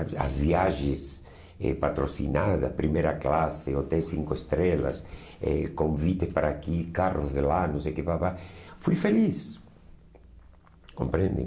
As viagens eh patrocinadas, primeira classe, hotel cinco estrelas, eh convite para aqui, carros de lá, não sei o que pá pá pá, fui feliz, compreende?